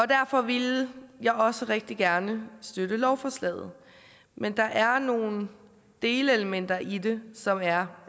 derfor ville jeg også rigtig gerne støtte lovforslaget men der er nogle delelementer i det som er